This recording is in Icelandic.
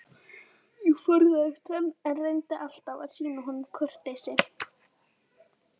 Ég forðaðist hann, en reyndi alltaf að sýna honum kurteisi.